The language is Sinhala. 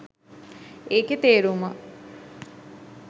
ඒකෙ තේරුම